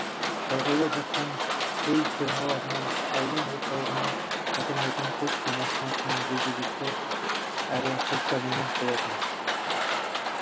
шалғайда жатқан қой фермаларына аудан орталығынан қатынайтын почта машинасының жүргізушісі әрі почтальоны болатын